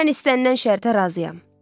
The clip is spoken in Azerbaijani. Mən istənilən şərtə razıyam.